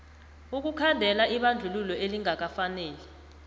ukukhandela ibandlululo elingakafaneli